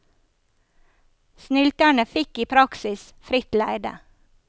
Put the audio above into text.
Snylterne fikk i praksis fritt leide.